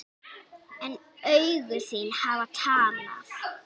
En augu þín hafa talað.